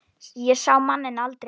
Ég sá manninn aldrei aftur.